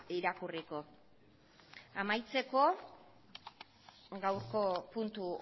irakurriko amaitzeko gaurko puntu